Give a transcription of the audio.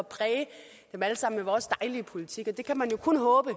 præge dem alle sammen med vores dejlige politik det kan man jo kun håbe